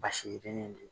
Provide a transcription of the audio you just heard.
Basi yirinin do